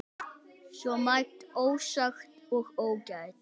Svo margt ósagt og ógert.